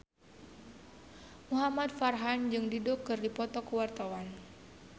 Muhamad Farhan jeung Dido keur dipoto ku wartawan